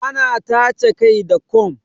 Ana tace kai da kom